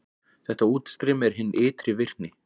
Þetta útstreymi er hin ytri virkni.